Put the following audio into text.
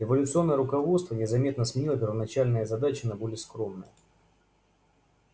революционное руководство незаметно сменило первоначальные задачи на более скромные